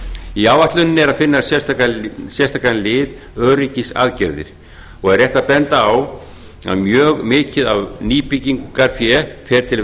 í áætluninni er að finna sérstakan lið öryggisaðgerðir og er rétt að benda á að mjög mikið af nýbyggingarfé fer til